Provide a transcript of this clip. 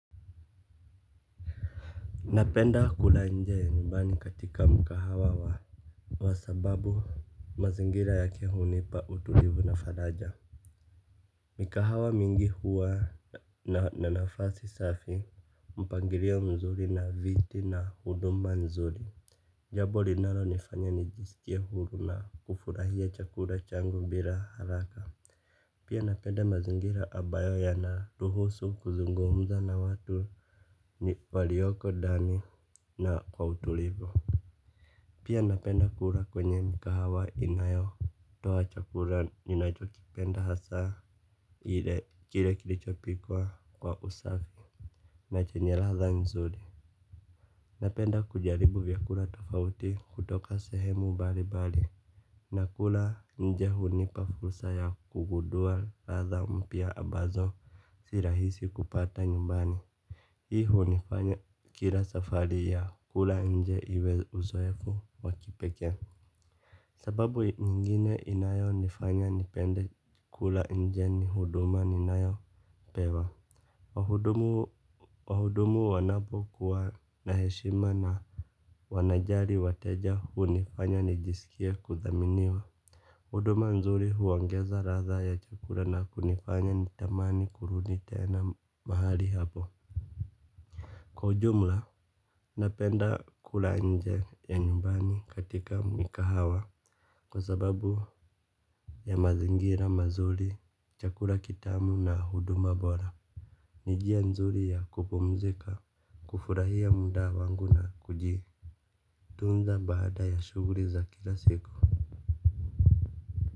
Napenda kula nje ya nyumbani katika mkahawa wa kwa sababu mazingira yake hunipa utulivu na faraja. Mikahawa mingi huwa na nafasi safi. Mpangilio mzuri na viti na huduma nzuri. Jambo linalonifanya nijisikie huru na kufurahia chakula changu bila haraka. Pia napenda mazingira ambayo yanaruhusu kuzungumza na watu. Ni walioko ndani na kwa utulivu. Pia napenda kula kwenye mikahawa inayotoa chakula ninachokipenda hasa ile kile kilichopikwa kwa usafi na chenye ladha nzuri. Napenda kujaribu vyakula tofauti kutoka sehemu mbalimbali. Na kula nje hunipa fursa ya kugundua ladha mpya ambazo si rahisi kupata nyumbani hii hunifanya kila safari ya kula nje iwe uzoefu wa kipekee. Sababu nyingine inayonifanya nipende kula nje ni huduma ninayopewa. Wahudumu wanapokuwa na heshima na wanajali wateja hunifanya nijisikie kudhaminiwa. Huduma nzuri huongeza ladha ya chakula na kunifanya nitamani kurudi tena mahali hapo. Kwa ujumla, napenda kula nje ya nyumbani katika mikahawa. Kwa sababu ya mazingira, mazuri, chakula kitamu na huduma bora. Ni njia nzuri ya kupumzika, kufurahia muda wangu na kuji tunza baada ya shughuli za kila siku.